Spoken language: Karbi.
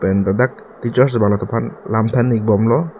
lapen ladak teacher bang lam than ik bom lo.